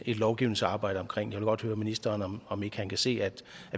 et lovgivningsarbejde omkring jeg vil godt høre ministeren om om ikke han kan se at